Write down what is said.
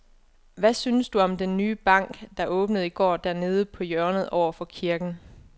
Hvad synes du om den nye bank, der åbnede i går dernede på hjørnet over for kirken?